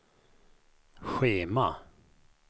schema